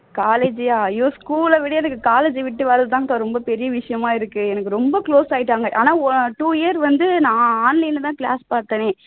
college ஐயா ஐயோ school ல விட எனக்கு college அ விட்டு வரது தான் அக்கா ரொம்ப பெரிய விஷயமா இருக்கு எனக்கு ரொம்ப close ஆயிட்டாங்க ஆனா two year வந்து நான் online ல தான் class பார்த்தேனே